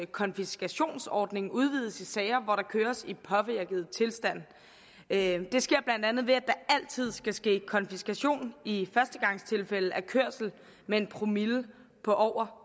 konfiskationsordning udvides i sager hvor der køres i påvirket tilstand det sker blandt andet ved at der altid skal ske konfiskation i førstegangstilfælde af kørsel med en promille på over